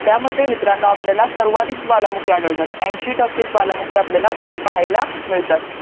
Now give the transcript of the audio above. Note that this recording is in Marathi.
त्यामध्ये मित्रांनो आपल्याला सर्वाधिक ज्वालामुखी आढळले जातात एंशी टक्के ज्वालामुखी आपल्याला तिथे पाहायाला मिळतात